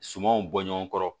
Sumanw bɔ ɲɔgɔn kɔrɔ